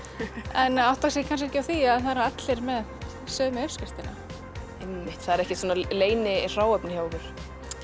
en átta sig kannski ekki á því að það eru allir með sömu uppskriftina einmitt það er ekkert leynihráefni hjá ykkur